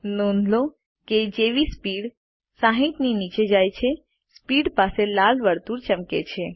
નોંધ લો કે જેવી સ્પીડ 60 નીચે જાય છે સ્પીડ પાસે લાલ વર્તુળ ચમકે છે